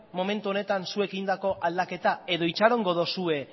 momentu honetan zuek egindako aldaketa edo itxarongo dozue